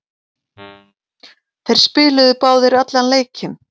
Þeir spiluðu báðir allan leikinn.